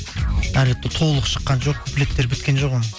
әлі толық шыққан жоқ куплеттері біткен жоқ оның